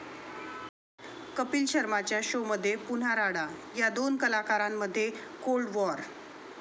कपिल शर्माच्या शोमध्ये पुन्हा राडा, 'या' दोन कलाकारांमध्ये कोल्ड वॉर?